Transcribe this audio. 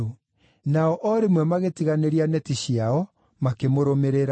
Nao o rĩmwe magĩtiganĩria neti ciao, makĩmũrũmĩrĩra.